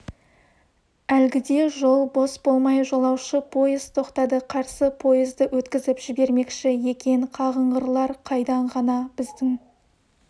әлгіде жол бос болмай жолаушы пойыз тоқтады қарсы пойызды өткізіп жібермекші екен қағыңғырлар қайдан ғана біздің